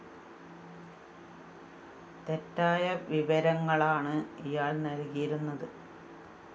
തെറ്റായ വിവരങ്ങളാണ് ഇയാള്‍ നല്‍കിയിരുന്നത്